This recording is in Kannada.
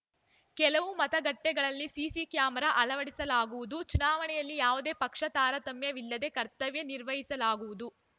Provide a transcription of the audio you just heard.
ಕೆಲವು ಮತಗಟ್ಟೆಗಳಲ್ಲಿ ಸಿಸಿ ಕ್ಯಾಮರಾ ಅಳವಡಿಸಲಾಗುವುದು ಚುನಾವಣೆಯಲ್ಲಿ ಯಾವುದೇ ಪಕ್ಷ ತಾರತಮ್ಯವಿಲ್ಲದೆ ಕರ್ತವ್ಯ ನಿರ್ವಹಿಸಲಾಗುವುದು